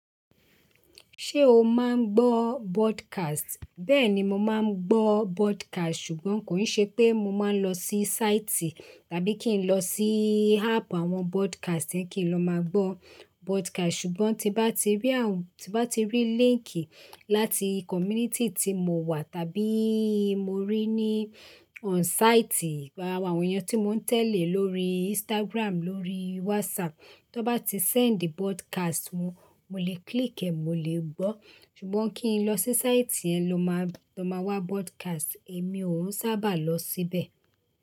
Ṣé o máa ń gbọ́ broadcast? Bẹ́ẹ̀ni mo máa ń gbọ́ broadcast ṣùgbọ́n kò ń ṣe pé mo máa ń lọ sí site tàbí kí n lọ sí app àwọn broadcast kí n lọ máa gbọ́ broadcast. Ṣùgbọ́n tí bá ti rí àwọn, tí bá ti rí link láti community tí mo wà tàbí mo rí ní on site àwọn èèyàn tí mò ń tẹ̀lé lórí Instagram, lórí WhatsApp, tí wọ́n bá ti send broadcast wọ́n, mo lè click ẹ́, mo lè gbọ́. Ṣùgbọ́n kí n lọ sí site yẹn ló máa, lọ máa wá broadcast, èmi ò ún sábà lọ síbẹ̀